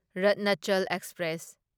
Ratnachal express